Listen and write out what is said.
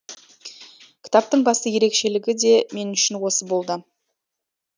кітаптың басты ерекшелігі де мен үшін осы болды